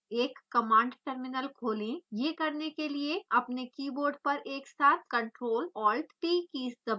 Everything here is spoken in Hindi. एक कमांड टर्मिनल खोलें यह करने के लिए अपने कीबोर्ड पर एक साथ ctrl +alt+ t कीज़ दबाएं